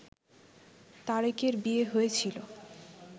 তারেকের বিয়ে হয়েছিল